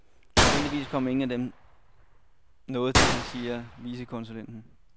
Heldigvis kom ingen af dem noget til, siger vicekonsulen.